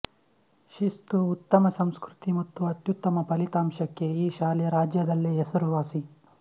ಶಿಸ್ತುಉತ್ತಮ ಸಂಸ್ಕೃತಿ ಮತ್ತು ಅತ್ಯುತ್ತಮ ಫಲಿತಾಂಶಕ್ಕೆ ಈ ಶಾಲೆ ರಾಜ್ಯದಲ್ಲೇ ಹೆಸರುವಾಸಿ